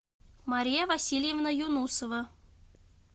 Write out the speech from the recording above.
мария васильевна юнусова